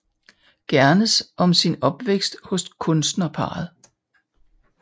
Gernes om sin opvækst hos kunstnerparret